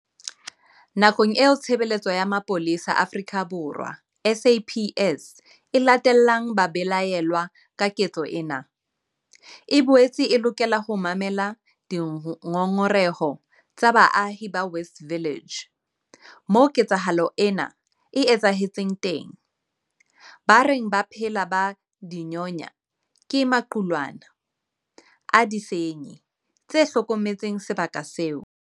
Nakong eo Tshebeletso ya Mapolesa Afrika Borwa, SAPS, e latellang babelaellwa ba ketso ena, e boetse e lokela ho mamela dingongoreho tsa baahi ba West Village, moo ketsahalo ena e etsahetseng teng, ba reng ba phela ba dinonyana ke maqulwana a disenyi tse hlometseng sebakeng seo.